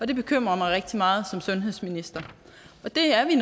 det bekymrer mig rigtig meget som sundhedsminister og det er vi